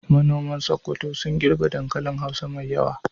Manoman Sokoto sun girbe dankali hausa mai yawa.